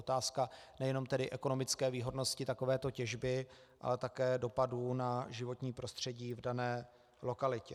Otázka nejenom tedy ekonomické výhodnosti takovéto těžby, ale také dopadů na životní prostředí v dané lokalitě.